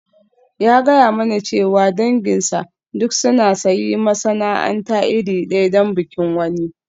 Ya gaya mani cewa danginsa duk sun sayi masana'anta iri ɗaya don bikin wani.